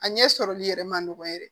A ɲɛ sɔrɔli yɛrɛ ma nɔgɔn yɛrɛ